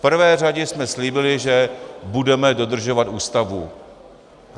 V prvé řadě jsme slíbili, že budeme dodržovat Ústavu.